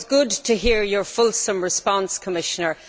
It was good to hear your fulsome response, Commissioner.